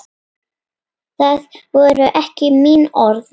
Það voru ekki mín orð.